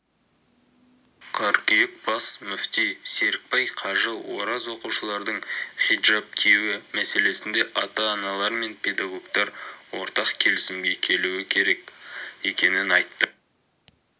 қыркүйек бас мүфти серікбай қажы ораз оқушылардың хиджаб киюі мәселесінде ата-аналар мен педагогтар ортақ келісімге келуі керек екенін айтты